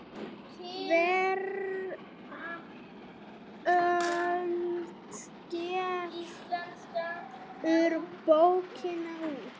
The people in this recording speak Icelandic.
Veröld gefur bókina út.